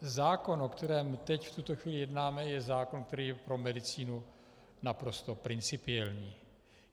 Zákon, o kterém teď v tuto chvíli jednáme, je zákon, který je pro medicínu naprosto principiální.